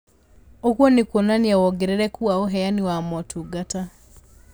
Ũguo nĩ kuonania wongerereku wa ũheani wa motungata